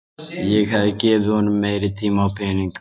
Ég hefði gefið honum meiri tíma og pening.